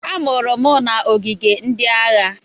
A mụrụ m n'ogige ndị agha.